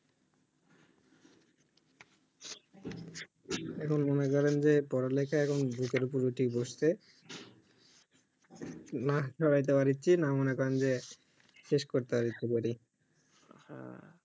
এখন মনে করেন যে পড়া লেখা এখন বুকের ওপর উঠে বইসছে না সরাইতে পারছি না মনে করে যে শেষ করতে পারছি পড়ে হ্যাঁ